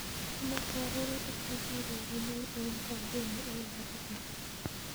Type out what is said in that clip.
Amoche arorutik che kiregunen en kangemi en nairobi yun